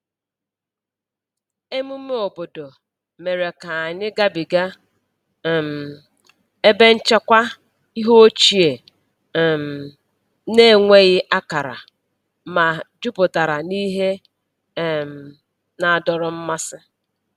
Emume obodo mere ka anyị gabiga um ebe nchekwa ihe ochie um na-enweghị akara, ma jupụtara n’ihe um na-adọrọ mmasị.